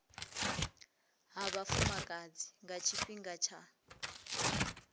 ha vhafumakadzi nga tshifhinga tsha